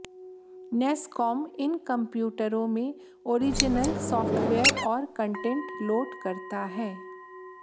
NASSCOM इन कंप्यूटरों में ऑरिजनल सॉफ्टवेयर और कंटेंट लोड करता है